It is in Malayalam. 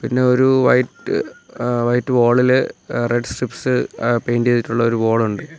പിന്നെ ഒരു വൈറ്റ് ആഹ് വൈറ്റ് വാളില് uh red stripes ah paint ചെയ്തിട്ടുള്ള ഒരു വോൾ ഉണ്ട്.